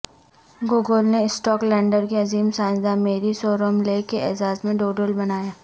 Google نے Scotland کی عظیم سائنس داں میری سومرویلے کے اعزاز میں ڈوڈل بنایا